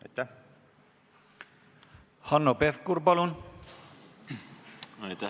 Aitäh!